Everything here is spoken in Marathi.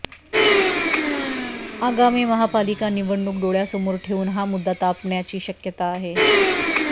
आगामी महापालिका निवडणूक डोळ्यासमोर ठेवून हा मुद्दा तापण्याची शक्यता आहे